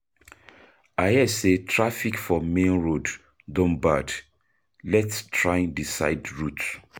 I hear say traffic for main road don bad, let’s try di side route.